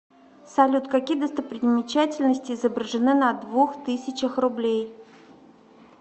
салют какие достопримечательности изображены на двух тысячах рублей